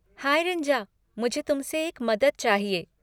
High Rinja, मुझे तुमसे एक मदद चाहिए।